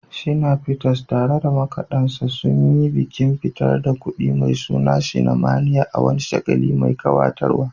Shina Peters, tare da makadansa, sun yi bikin fitar da kundi mai suna "Shinamania" a wani shagali mai kayatarwa.